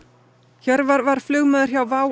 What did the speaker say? Hjörvar var flugmaður hjá WOW